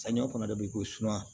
Samiya kɔnɔ de bɛ ko suma